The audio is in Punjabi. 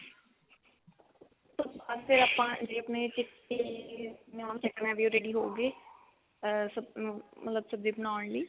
ਉਸ ਤੋਂ ਬਾਅਦ ਫ਼ੇਰ ਆਪਾਂ chickpea ਨੂੰ ਦੇਖਣਾ ਵੀ ਉਹ ready ਹੋਗੀ ਅਹ ਸਬ ਮਤਲਬ ਸਬ੍ਜ਼ੀ ਬਣਾਉਣ ਲਈ